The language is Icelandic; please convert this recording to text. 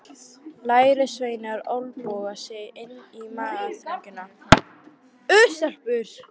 Lærisveinarnir olnboga sig inn í mannþröngina.